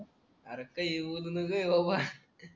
अरे काई बोलू नये रे बाबा